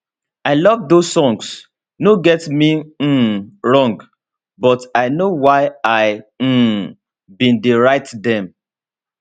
i love those songs no get me um wrong but i know why i um bin dey write dem